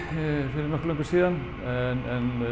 fyrir nokkuð löngu síðan en